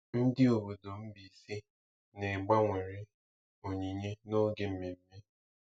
Ndị obodo Mbaise na-egbanwere onyinye n'oge mmemme.